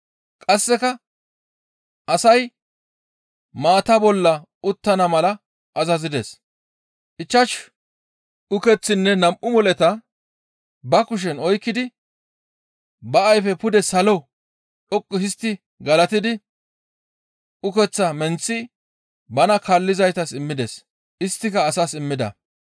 Qasseka asay maata bolla uttana mala azazides. Ichchashu ukeththinne nam7u moleta ba kushen oykkidi ba ayfe pude salo dhoqqu histti galatidi, ukeththaa menththi bana kaallizaytas immides. Isttika asaas immida.